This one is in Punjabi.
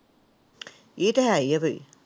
ਇਹ ਤਾਂ ਹੈ ਹੀ ਆ ਫਿਰ।